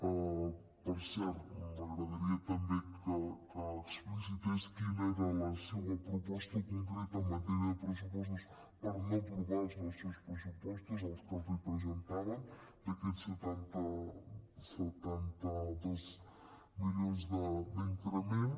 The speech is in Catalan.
per cert m’agradaria també que explicités quina era la seua proposta concreta en matèria de pressupostos per no aprovar els nostres pressupostos els que els presentàvem d’aquests setanta dos milions d’increment